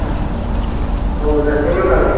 ਹੋਰ ਰੱਸੇ ਮਗਾਲੇ